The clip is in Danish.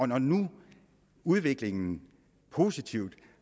når nu udviklingen positivt